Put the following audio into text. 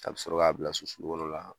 A bɛ sɔrɔ y'a bila su sulu kɔnɔna la